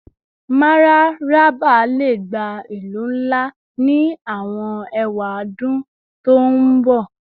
Mararaba le gba ilu nla ni awọn ewadun to n bọ